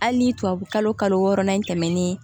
Hali ni tubabukalo kalo wɔɔrɔnan in tɛmɛnen